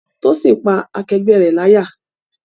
Tósìn pá akẹgbẹ́ rẹ̀ láyà